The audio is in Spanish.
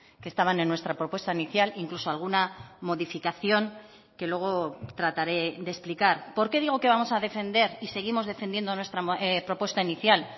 que estaban en nuestra propuesta inicial incluso alguna modificación que luego trataré de explicar por qué digo que vamos a defender y seguimos defendiendo nuestra propuesta inicial